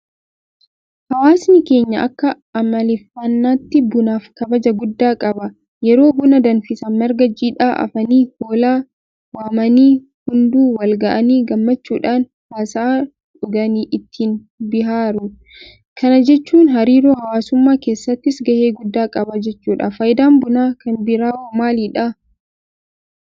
Hawaasni keenya akka amaleeffannaatti bunaaf kabaja guddaa qaba. Yeroo buna danfisan Marga jiidhaa afanii; hollaa waamanii; hunduu walga'anii gammachuudhaan haasa'aa dhuganii ittiin bihaaru. Kana jechuun hariiroo hawaasummaa keessattis gahee guddaa qaba jechuudha. Faayidaan Bunaa kanbiraawoo maalidha?